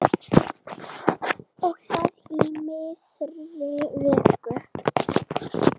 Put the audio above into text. Og það í miðri viku.